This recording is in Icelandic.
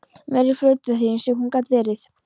Meiri flautaþyrillinn sem hún gat verið!